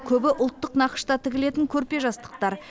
көбі ұлттық нақышта тігілетін көрпе жастықтар